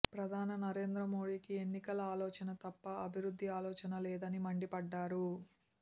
ప్రధాని నరేంద్ర మోడీకి ఎన్నికల ఆలోచన తప్ప అభివృద్ధి ఆలోచన లేదని మండిపడ్డారు